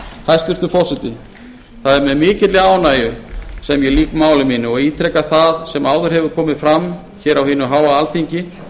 hæstvirtur forseti það er með mikilli ánægju sem ég lýk máli mínu og ítreka það sem áður hefur komið fram hér á hinu háa alþingi